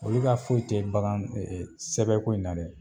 Olu ka foyi te bagan ɛ ɛ sɛbɛn ko in na dɛ